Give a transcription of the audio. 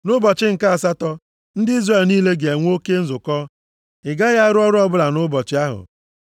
“ ‘Nʼụbọchị nke asatọ ndị Izrel niile ga-enwe oke nzukọ. Ị gaghị arụ ọrụ ọbụla nʼụbọchị ahụ.